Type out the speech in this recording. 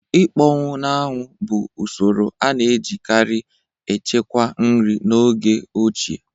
Ịkpọnwụ na-anwụ bụ usoro a na-ejikarị echekwa nri n'oge ochie